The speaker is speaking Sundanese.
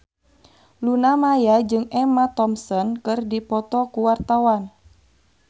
Luna Maya jeung Emma Thompson keur dipoto ku wartawan